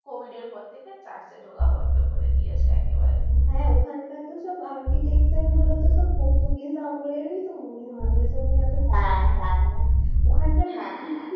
COVID এর পর থেকে church এ ঢোকা বন্ধ করে দিয়েছে একেবারে হ্যাঁ ওখান কার সব architecture গুলো তো সব Portuguese আমল এর ই তো মনে হয় ঐজন্যই এতো সুন্দর হ্যাঁ হ্যাঁ ওখানকার